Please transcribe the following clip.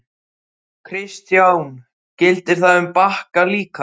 Kristján: Gildir það um Bakka líka?